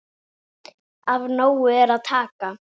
Af nógu er að taka.